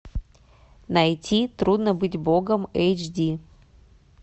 найти трудно быть богом эйч ди